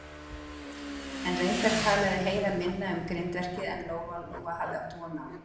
En reyndar talaði Heiða minna um grindverkið en Lóa-Lóa hafði átt von á.